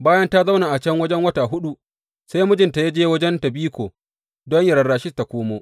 Bayan ta zauna a can wajen wata huɗu, sai mijinta ya je wajenta biko don yă rarashe ta komo.